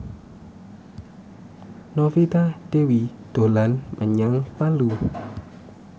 Novita Dewi dolan menyang Palu